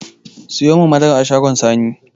Siyomin madara a shagon sani